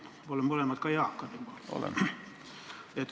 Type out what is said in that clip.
Me oleme mõlemad ka eakad juba.